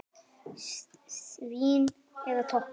Svína eða toppa?